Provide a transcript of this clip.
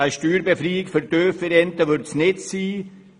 Eine Steuerbefreiung für tiefe Renten wird es nicht sein.